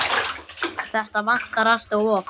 Þetta vantar allt of oft.